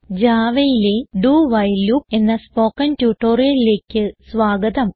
Javaയിലെ do while loop എന്ന spoken ട്യൂട്ടോറിയലിലേക്ക് സ്വാഗതം